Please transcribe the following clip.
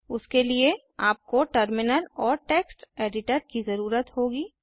उसके लिए आपको टर्मिनल और टेक्स्ट एडिटर की जरूरत होगी